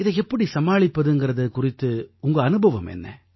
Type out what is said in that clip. இதை எப்படி சமாளிப்பதுங்கறது குறித்து உங்க அனுபவம் என்ன